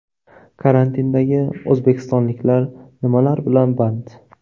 Karantindagi o‘zbekistonliklar nimalar bilan band?.